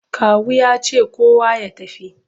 Kawu ya ce kowa ya tafi!